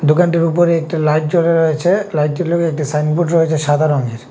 দোকানটির উপরে একটি লাইট জ্বলে রয়েছে লাইটির লগে একটি সাইনবোর্ড রয়েছে সাদা রঙের।